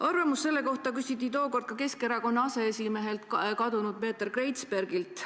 Arvamust selle kohta küsiti tookord ka Keskerakonna aseesimehelt Peeter Kreizbergilt.